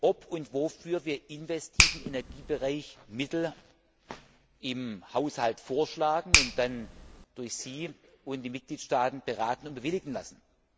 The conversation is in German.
ob und wofür wir im investiven Energiebereich Mittel im Haushalt vorschlagen und diese dann durch Sie und die Mitgliedstaaten beraten und bewilligen lassen.